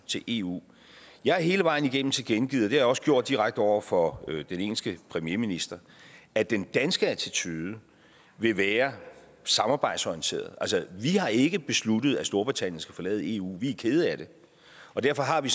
til eu jeg har hele vejen igennem tilkendegivet det jeg også gjort direkte over for den engelske premierminister at den danske attitude vil være samarbejdsorienteret altså vi har ikke besluttet at storbritannien skal forlade eu vi er kede af det derfor har vi